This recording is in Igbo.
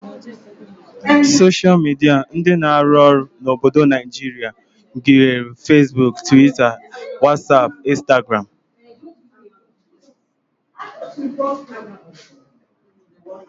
Soshal midia ndị na-arụ ọrụ n'obodo Naijirịa gụnyere feesbuk, twita, wasap, Instagram